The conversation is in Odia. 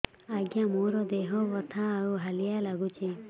ଆଜ୍ଞା ମୋର ଦେହ ବଥା ଆଉ ହାଲିଆ ଲାଗୁଚି